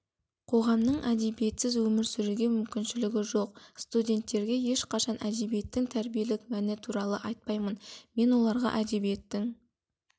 қоғамның әдебиетсіз өмір сүруге мүмкіншілігі жоқ студенттерге ешқашан әдебиеттің тәрбиелік мәні туралы айтпаймын мен оларға әдебиеттің